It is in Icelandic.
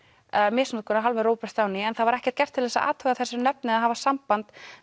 misnotkun af hálfu Robert Downey en það var ekkert gert til að athuga þessi nöfn eða hafa samband